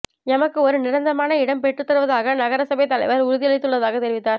எமக்கு ஒரு நிரந்தரமான இடம் பெற்றுத்தருவதாக நகரசபை தலைவர் உறுதியளித்துள்ளதாக தெரிவித்தார்